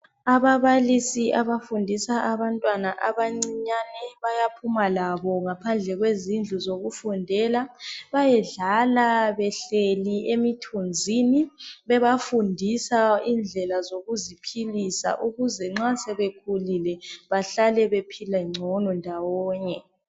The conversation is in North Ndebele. ababalisi abafundisa abantwana abancinyane bayaphuma labo ngaphandle kwezindlu zokufundela bayedlala behleli emithunzini bebafundisa indlela zokuziphilisa ukuze nxa sebekhulile bahlale bephile ngcon ndawonye